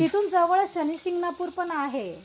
तिथून जवळच शनि शिंगणापूर पण आहे.